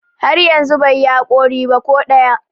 har yanzu bai yi haƙori ba ko ɗaya